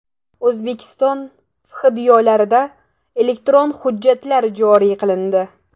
O‘zbekiston FHDYolarida elektron hujjatlar joriy qilindi.